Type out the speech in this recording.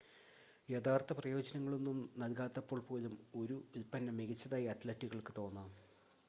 യഥാർത്ഥ പ്രയോജനങ്ങളൊന്നും നൽകാത്തപ്പോൾ പോലും ഒരു ഉൽപ്പന്നം മികച്ചതായി അത്‌ലറ്റുകൾക്ക് തോന്നാം